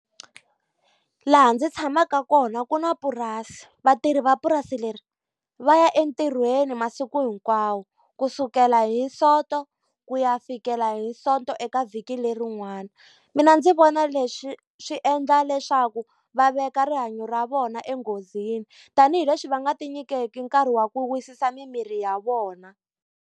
Laha ndzi tshamaka kona ku na purasi. Vatirhi va purasi leri va ya entirhweni masiku hinkwawo, kusukela hi Sonto ku ya fikela hi Sonto eka vhiki lerin'wani. Mina ndzi vona leswi swi endla leswaku va veka rihanyo ra vona enghozini, tanihileswi va nga ti nyikeki nkarhi wa ku wisisa mimirhi ya vona.